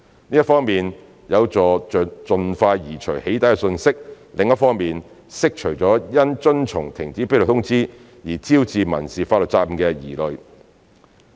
這一方面有助盡快移除"起底"訊息，另一方面釋除因遵從停止披露通知而招致民事法律責任的疑慮。